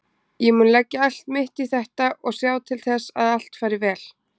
Ég mun leggja allt mitt í þetta og sjá til þess að allt fari vel.